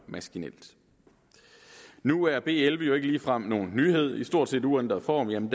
maskinelt nu er b elleve jo ikke ligefrem nogen nyhed i stort set uændret form